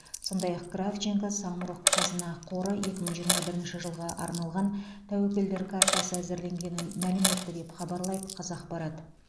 сондай ақ кравченко самұрық қазына қоры екі мың жиырма бірінші жылға арналған тәуекелдер картасы әзірленгенін мәлім етті деп хабарлайды қазақпарат